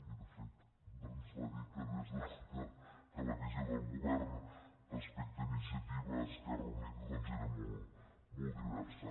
i de fet ens va dir que la visió del govern respecte a inicia·tiva · esquerra unida era molt diversa